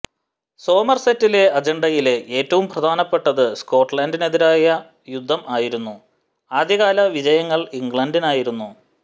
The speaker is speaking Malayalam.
സോമർസെറ്റിന്റെ അജണ്ടയിലെ ഏറ്റവും പ്രധാനപ്പെട്ടത് സ്കോട്ലന്റിനെതിരായ യുദ്ധം ആയിരുന്നു ആദ്യകാല വിജയങ്ങൾ ഇംഗ്ലണ്ടിനായിരുന്നു